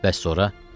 Bəs sonra?